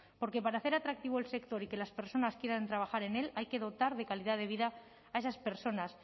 porque para hacer atractivo el sector y que las personas quieran trabajar en él hay que dotar de calidad de vida a esas personas